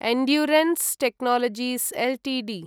endurance Technologies Ltd